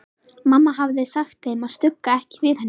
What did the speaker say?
Mamma hafði sagt þeim að stugga ekki við henni.